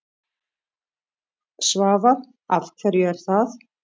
Svavar: Af hverju er það?